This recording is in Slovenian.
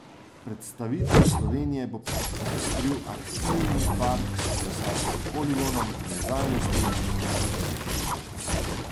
Predstavitev Slovenije bo popestril aktivni park s kolesarskim poligonom, plezalno steno in drugimi aktivnostmi.